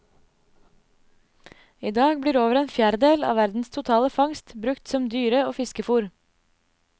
I dag blir over en fjerdedel av verdens totale fangst brukt som dyre og fiskefor.